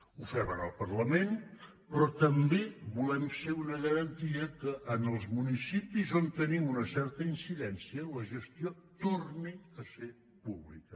ho fem en el parlament però també volem ser una garantia que en els municipis on tenim una certa incidència la gestió torni a ser pública